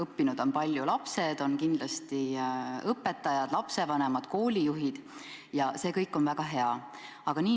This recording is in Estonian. Palju on õppinud lapsed, kindlasti ka õpetajad, lapsevanemad ja koolijuhid – ja see kõik on väga hea.